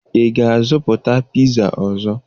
Ị ga-azụta piza ọzọ?